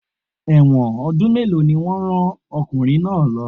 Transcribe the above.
Ẹ̀wọ̀n ọdún mélòó ni wọ́n rán ọkùnrin náà lo?